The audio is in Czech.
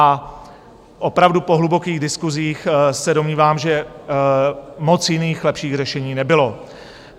A opravdu po hlubokých diskusích se domnívám, že moc jiných, lepších řešení nebylo.